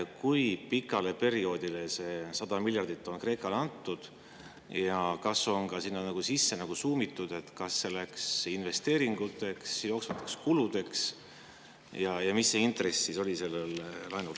Kui pikaks perioodiks see 100 miljardit on Kreekale antud ja kas on ka sinna nagu sisse suumitud, et kas see läks investeeringuteks või jooksvateks kuludeks, ja mis selle laenu intress oli?